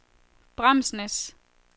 Bramsnæs